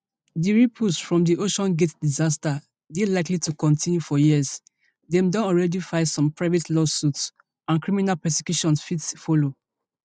di ripples from di oceangate disaster dey likely to kontinu for years dem don already file some private lawsuits and criminal prosecutions fit follow